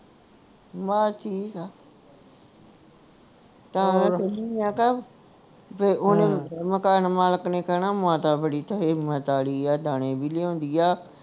ਬੱਸ ਠੀਕ ਆ ਤੇ ਓਹਨੇ ਮਕਾਨ ਮਲਿਕ ਨੇ ਕਹਿਣਾ ਮਾਤਾ ਬੜੀ ਮਾਤਾ ਆਲੀ ਆ ਦਾਣੇ ਵੀ ਲਿਆਉਂਦੀ ਆ